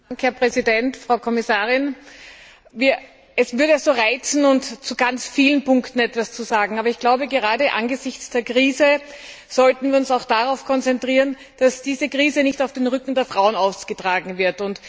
Herr Präsident, Frau Kommissarin! Es würde mich reizen, zu ganz vielen Punkten etwas zu sagen, aber gerade angesichts der Krise sollten wir uns darauf konzentrieren, dass diese Krise nicht auf dem Rücken der Frauen ausgetragen wird.